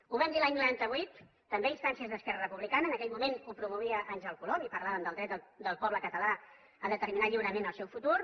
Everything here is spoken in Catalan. ho vam dir l’any noranta vuit també a instàncies d’esquerra republicana en aquell moment ho promovia àngel colom i parlàvem del dret del poble català a determinar lliurement el seu futur